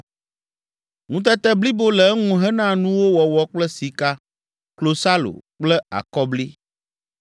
Ŋutete blibo le eŋu hena nuwo wɔwɔ kple sika, klosalo kple akɔbli.